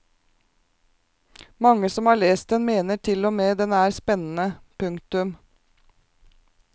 Mange som har lest den mener tilogmed den er spennende. punktum